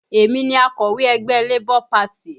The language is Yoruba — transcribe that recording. Èmi ni akọ̀wé ẹgbẹ́ Labour Party